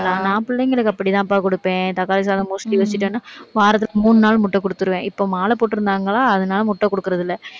நான் பிள்ளைங்களுக்கு அப்படித்தாம்ப்பா கொடுப்பேன். தக்காளி சாதம் mostly வச்சிட்டேன்னா வாரத்துக்கு மூணு நாள் முட்டை குடுத்துருவேன். இப்ப, மாலை போட்டிருந்தாங்களா அதனால முட்டை குடுக்கறதில்லை